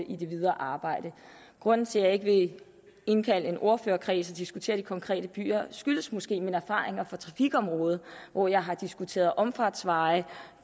i det videre arbejde grunden til at jeg ikke vil indkalde en ordførerkreds og diskutere de konkrete byer skyldes måske mine erfaringer fra trafikområdet hvor jeg har diskuteret omfartsveje